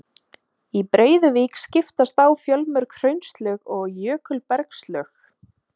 Í Breiðuvík skiptast á fjölmörg hraunlög og jökulbergslög.